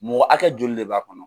Mɔgɔ hakɛ joli de b'a kɔnɔ.